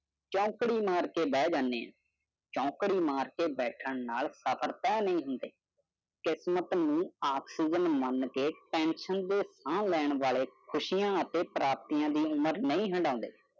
ਚੌਂਕੜੀ ਮਾਰ ਕੇ ਬਹਿ ਜਾਂਦੇ ਹਾਂ, ਚੌਂਕੜੀ ਮਾਰ ਕੇ ਬੈਠਣ ਨਾਲ ਸਫਰ ਤਹਿ ਨਹੀਂ ਹੁੰਦੇ ਕਿਸਮਤ ਨੂੰ ਆਕਸੀਜ਼ਨ ਮੰਨ ਕੇ ਟੈਂਸ਼ਨ ਦੀ ਥਾਂ ਲੈਣ ਵਾਲੇ ਖੁਸ਼ੀਆਂ ਅਤੇ ਪ੍ਰਾਪਤੀਆਂ ਦੀ ਉਮਰ ਨਹੀਂ ਹੰਢਾਉਂਦੇ ।